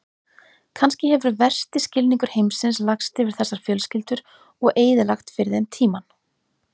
Kannski hefur versti skilningur heimsins lagst yfir þessar fjölskyldur og eyðilagt fyrir þeim tímann.